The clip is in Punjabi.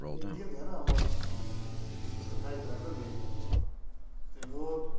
ਨਾ ਅੰਬ ਬਿਨਾ ਧੌਂਦੇ ਨਹੀਂ, ਹੋਰ